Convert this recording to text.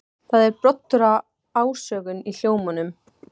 Það er broddur af ásökun í hljómnum.